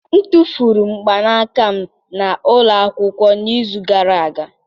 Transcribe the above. M tụfuru mgbanaka m na ụlọ akwụkwọ n'izu gara aga